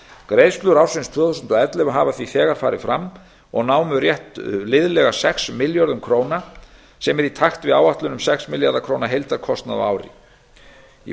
greiðslur ársins tvö þúsund og ellefu hafa þegar farið fram og námu rétt liðlega sex milljörðum króna sem er í takt við áætlun um sex milljarða króna heildarkostnað á ári í